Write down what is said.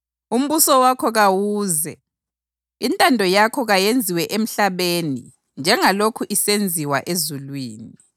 umbuso wakho kawuze, intando yakho kayenziwe emhlabeni njengalokhu isenziwa ezulwini.